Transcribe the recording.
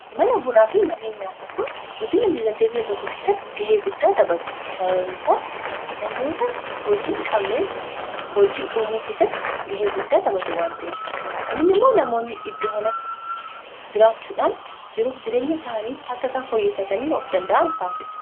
mana bunaa fi mannee nyaataa kun guddiina dinagdeebiyya tokko keessatti gahee guddaa taphatu sababniisaas namoota hojiinhi qabneef hojii uumuu keessatti gahee guddaa taphatu waanta'ef kunni immoo namoonni iddoo kanatti jiraachuudhaan jiruuf jireenya isaanii akka isaan foyyeffatanii of danda'an taasisa